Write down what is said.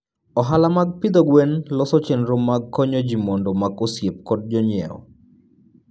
Ohala mag pidho gwen loso chenro mag konyo ji mondo omak osiep gi jonyiewo.